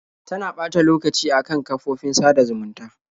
Tana ɓata lokacin a kan kafofofin sada zumunta.